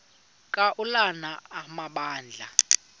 ka ulana amabandla